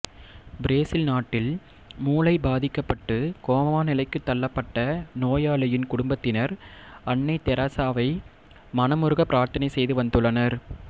Brazil நாட்டில்மூளை பாதிக்கப்பட்டு coma நிலைக்கு தள்ளப்பட்ட நோயாளியின் குடும்பத்தினர் அன்னை தெரசாவை மனமுருக பிரார்த்தனை செய்து வந்துள்ளனர்